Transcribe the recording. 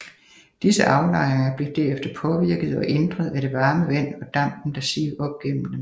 Disse aflejringer blev derefter påvirket og ændret af det varme vand og dampen der sivede op gennem dem